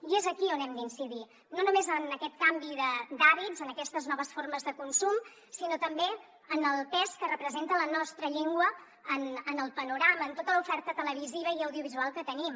i és aquí on hem d’incidir no només en aquest canvi d’hàbits en aquestes noves formes de consum sinó també en el pes que representa la nostra llengua en el panorama en tota l’oferta televisiva i audiovisual que tenim